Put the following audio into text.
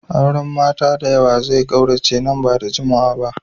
Auren mata da yawa zai kaurace nan ba dadawa.